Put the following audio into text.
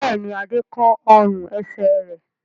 Bẹ́ẹ̀ ni, Adé kán ọrùn-ẹsẹ̀ rẹ̀.